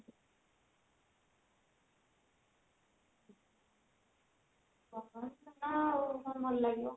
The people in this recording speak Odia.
ଗରମ ଦିନ ଆଉ କଣ ଭଲ ଲାଗିବ